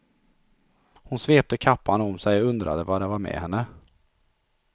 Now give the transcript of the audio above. Hon svepte kappan om sig och undrade vad det var med henne.